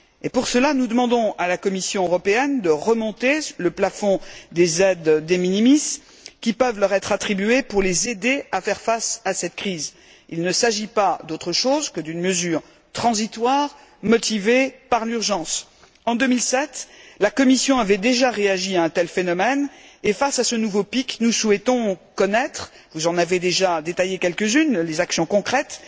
Pour cela, nous demandons à la Commission européenne de remonter le plafond des aides de minimis qui peuvent leur être attribuées pour les aider à faire face à cette crise. Il ne s'agit pas d'autre chose que d'une mesure transitoire, motivée par l'urgence. En 2007, la Commission avait déjà réagi à un tel phénomène et face à ce nouveau pic, nous souhaitons connaître, vous en avez déjà détaillées quelques unes, les actions concrètes